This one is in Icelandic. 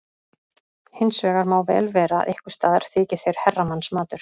Hins vegar má vel vera að einhvers staðar þyki þeir herramannsmatur.